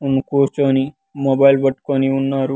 ఉమ్ కూర్చొని మొబైల్ పట్టుకొని ఉన్నారు.